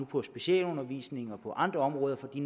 på specialundervisningen og på andre områder fordi